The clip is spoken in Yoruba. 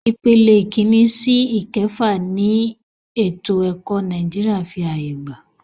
Ìpele ìkínní sí ìkẹfà ni ètò ẹ̀kọ́ Nàìjíríà fí ààyè gbà.